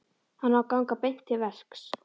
Hann á að ganga beint til verks.